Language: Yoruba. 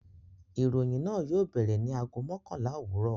Ìròyìn náà yóò bẹ̀rẹ̀ ní ago mọ́kànlá òwúrọ̀.